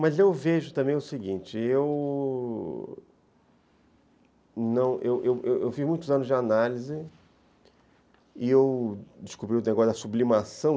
Mas eu vejo também o seguinte, eu eu eu fiz muitos anos de análise e eu descobri o negócio da sublimação.